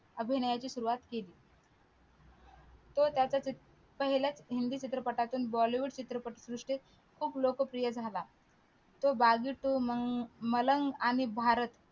अभिनयाची सुरवात केली तो त्याच्या पहिल्या हिंदी चित्रपटातुन बॉलीवूड चित्रपटसृष्टीत खूप लोकप्रिय झाला तो अं मलंग आणि भारत